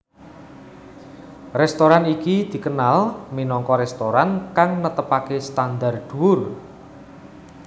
Restoran iki dikenal minangka restoran kang netepake standar dhuwur